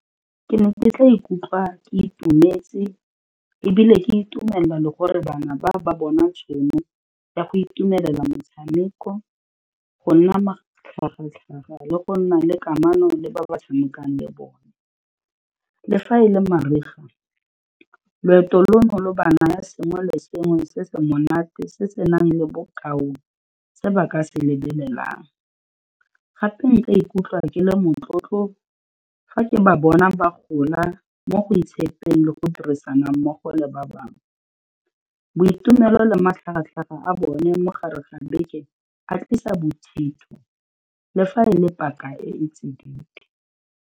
Ke ne ke tla ikutlwa ke itumetse ebile ke itumella le gore bana ba, ba bona tšhono ya go itumelela metshameko, go nna matlhagatlhaga le go nna le kamano le ba ba tshamekang le bone, le fa e le mariga, loeto lono lo ba naya sengwe le sengwe se se monate se se nang le bokao se ba ka se lebelelang. Gape nka ikutlwa ke le motlotlo ga ke ba bona ba gola mo go itshepeng le go dirisana mmogo le ba bangwe, boitumelo le matlhagatlhaga a bone mo gare ga beke a tlisa bothitho le fa e le paka e e tsididi.